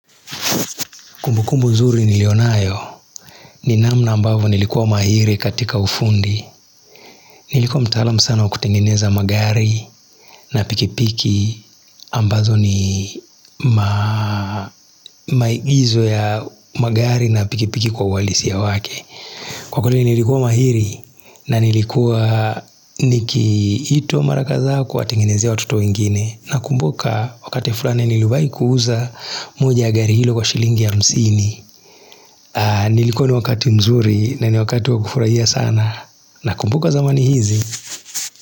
Kumbukumbu zuri nilio nayo ni namna ambavyo nilikuwa mahiri katika ufundi. Nilikuwa mtaalamu sana wa kutengeneza magari na pikipiki ambazo ni maizo ya magari na pikipiki kwa uwalisi ya wake. Kwa kule nilikuwa mahiri na nilikuwa nikiitwa mara kadhaa kuwatengenezea watoto wengine. Nakumbuka wakati fulani niliwahi kuuza moja ya gari hilo kwa shilingi hamsini. Nilikuwa na wakati mzuri na ni wakati wakufurahia sana Nakumbuka zamani hizi.